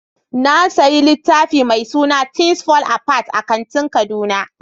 Na sayi littafin mai suna THINGS FALL APART a kantin kaduna.